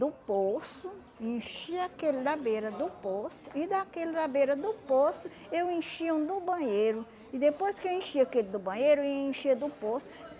do poço, enchia aquele na beira do poço, e daquele na beira do poço eu enchia um do banheiro, e depois que eu enchia aquele do banheiro, eu enchia do poço.